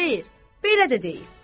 Xeyr, belə də deyil.